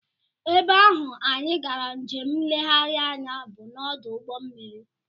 Ebe ahụ anyị gara njem nlereanya bụ n'ọdụ ụgbọmmiri